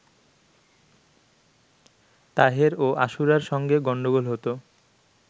তাহের ও আশুরার সঙ্গে গণ্ডগোল হতো